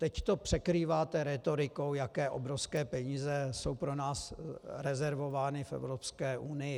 Teď to překrýváte rétorikou, jaké obrovské peníze jsou pro nás rezervovány v Evropské unii.